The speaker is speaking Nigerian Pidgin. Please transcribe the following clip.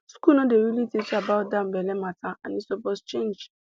school no dey really teach about that belle matter and e suppose change